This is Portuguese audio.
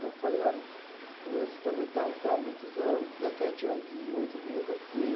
Eu falei, olha, eu muitos anos, dezessete anos e oito meses assim.